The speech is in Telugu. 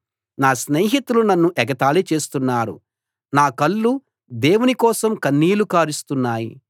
నా స్నేహితులు నన్ను ఎగతాళి చేస్తున్నారు నా కళ్ళు దేవుని కోసం కన్నీళ్లు కారుస్తున్నాయి